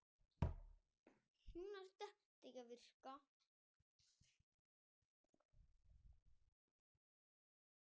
Endurútgáfa, mikið breytt.